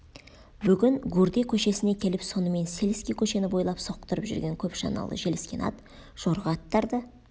бүгін гурде көшесіне келіп сонымен сельский көшені бойлап соқтырып жүрген көп шаналы желіскен ат жорға аттарды